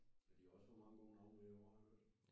Ja de har også fået mange gode navne med i år har jeg hørt